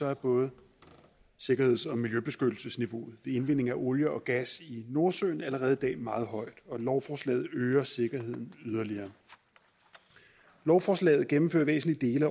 er både sikkerheds og miljøbeskyttelsesniveauet ved indvinding af olie og gas i nordsøen allerede i dag meget højt og lovforslaget øger sikkerheden yderligere lovforslaget gennemfører væsentlige